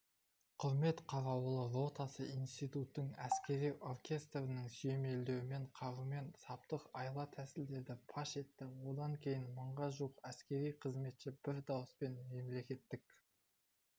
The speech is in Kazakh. құрмет қарауылы ротасы институттың әскери оркестрінің сүйемелдеуімен қарумен саптық айла-тәсілдерді паш етті одан кейін мыңға жуық әскери қызметші бір дауыспен мемлекеттік